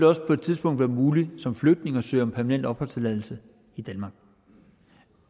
også på et tidspunkt være muligt som flygtning at søge om permanent opholdstilladelse i danmark